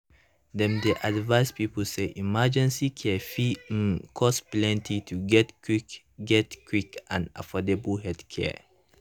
dem dey advise people say emergency care fit um cost plenty to get quick get quick and affordable healthcare.